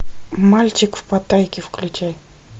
мальчик в паттайе включай